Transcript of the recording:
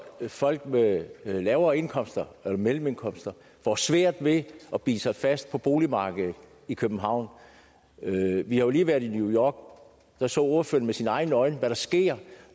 folk med lavere indkomster eller mellemindkomster får svært ved at bide sig fast på boligmarkedet i københavn vi har jo lige været i new york og der så ordføreren med sine egne øjne hvad der sker